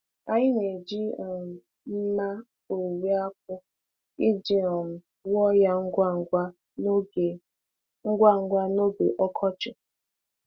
Anyị na-eji um mma owuwe akpu iji um wuo ya ngwa ngwa n'oge ngwa ngwa n'oge ọkọchị.